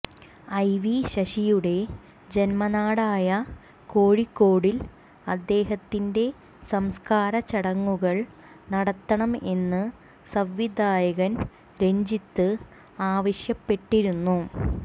I V ശശിയുടെ ജന്മ നാടായ കോഴിക്കോടിൽ അദ്ദേഹത്തിന്റെ സംസ്കാര ചടങ്ങുകൾ നടത്തണം എന്ന് സംവിധായകൻ രഞ്ജിത്ത് ആവശ്യപ്പെട്ടിരുന്നു